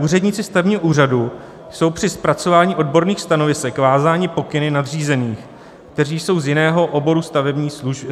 Úředníci stavebního úřadu jsou při zpracování odborných stanovisek vázáni pokyny nadřízených, kteří jsou z jiného oboru státní služby.